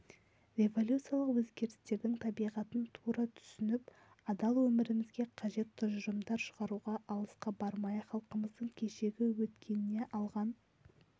революциялық өзгерістердің табиғатын тура түсініп адал өмірімізге қажет тұжырымдар шығаруға алысқа бармай-ақ халқымыздың кешегі өткеніне алған